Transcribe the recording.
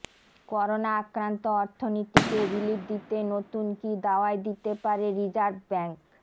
corona আক্রান্ত অর্থনীতিকে relief দিতে নতুন কী দাওয়াই দিতে পারে রিজার্ভ ব্যাঙ্ক